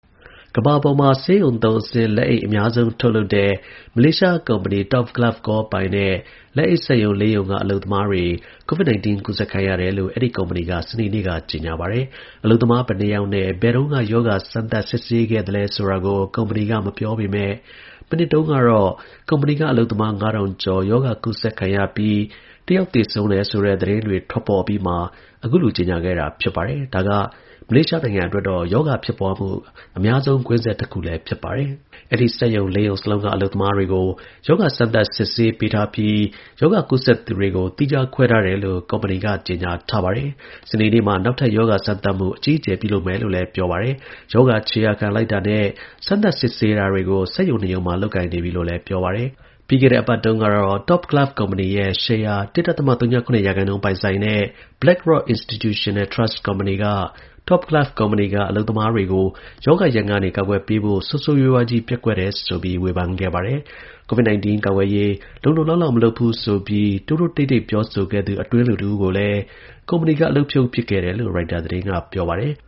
ကမ္ဘာပေါ်မှာ ဆေးရုံသုံးအဆင့်လက်အိတ် အများဆုံးထုတ်လုပ်တဲ့ မလေးရှားကုမ္ပဏီ Top Glove Corp ပိုင်တဲ့ လက်အိတ်စက်ရုံ ၄ ရုံက အလုပ်သမားတွေ COVID-19 ကူးစက်ခံရတယ်လို့ အဲဒီကုမ္ပဏီက စနေနေ့က ကြေညာပါတယ်။ အလုပ်သမား ဘယ်နှစ်ယောက်နဲ့ ဘယ်တုန်းက ရောဂါစမ်းသပ် စစ်ဆေးခဲ့သလဲ ဆိုတာကို ကုမ္ပဏီက မပြောပေမယ့် မနှစ်တုန်းက ကုမ္ပဏီအလုပ်သမား ၅,၀၀၀ ကျော် ရောဂါကူးစက်ခံရပြီး တယောက်သေဆုံးတယ်ဆိုတဲ့သတင်း ထွက်ပေါ်အပြီးမှာ အခုလို ကြေညာခဲ့တာပါ။ ဒါက မလေးရှားနိုင်ငံအတွက်တော့ ရောဂါဖြစ်ပွားမှု အများဆုံး ကွင်းဆက်တခု ဖြစ်ပါတယ်။ အဲဒီစက်ရုံ ၄ ရုံစလုံးက အလုပ်သမားတွေကို ရောဂါစမ်းသပ် စစ်ဆေးပေးထားပြီး ရောဂါကူးစက်သူတွေကို သီးခြားခွဲထားတယ်လို့ ကုမ္ပဏီက ကြေညာထားပါတယ်။ စနေနေ့မှာ နောက်ထပ် ရောဂါစမ်းသပ်မှု အကြီးအကျယ် ပြုလုပ်မယ်လို့လည်း ပြောပါတယ်။ ရောဂါခြေရာခံလိုက်တာနဲ့ စမ်းသပ်စစ်ဆေးတာတွေကို စက်ရုံ ၂ ရုံမှာ လုပ်နေပြီလို့လည်း ပြောပါတယ်။ ပြီးခဲ့တဲ့အပတ်တုန်းကတော့ Top Glove ကုမ္ပဏီရဲ့ ရှယ်ယာ ၁.၀၇ ရာခိုင်နှုန်း ပိုင်ဆိုင်တဲ့ BlackRock Institutional Trust Co., က Top Glove ကုမ္ပဏီက အလုပ်သမားတွေကို ရောဂါရန်ကနေ ကာကွယ်ပေးဖို့ ဆိုးဆိုးရွားရွားကြီး ပျက်ကွက်ခဲ့တယ်ဆိုပြီး ဝေဖန်ခဲ့ပါတယ်။ Top Glove ကုမ္ပဏီရဲ့ ဒါရိုက်တာ ဘုတ်အဖွဲ့ဝင်တချို့ နုတ်ထွက်ပေးဖို့ကိုလည်း တောင်းဆိုခဲ့ပါသေးတယ်။ COVID-19 ကာကွယ်ရေး လုံလုံလောက်လောက် မလုပ်ဘူးဆိုပြီး တိုးတိုးတိတ်တိတ် ပြောဆိုခဲ့သူ အတွင်းလူတဦးကို ကုမ္ပဏီက အလုပ်ဖြုတ်ပစ်ခဲ့တယ်လို့လည်း ရိုက်တာသတင်းက ပြောပါတယ်။